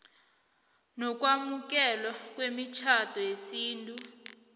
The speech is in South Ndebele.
nokwamukelwa kwemitjhado yesintu